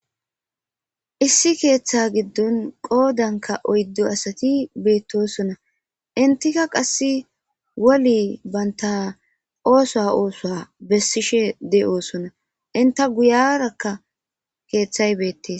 issi keeththa giddon qoodanka oyddo asati beettosona intika qasse woli baynta oosa oosoa bessishe de7oosona inta guyarakka keeththay beettees